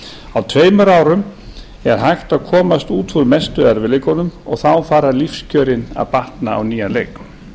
á tveimur árum er hægt að komast út úr mestu erfiðleikunum og þá fara lífskjörin að batna á nýjan leik